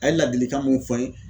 A ye ladilikan mun fɔ n ye ,